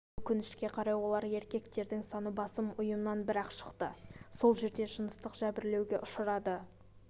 өкінішке қарай олар еркектердің саны басым ұйымнан бір-ақ шықты сол жерде жыныстық жәбірлеуге ұшырады